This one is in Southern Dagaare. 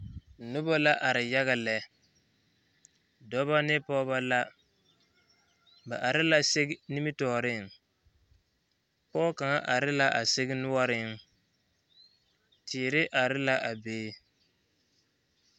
Noba la are yaga lɛ dɔba ne pɔgeba la ba are la sigi nimitɔɔreŋ pɔge kaŋa are la a sigi noɔreŋ teere are la a be.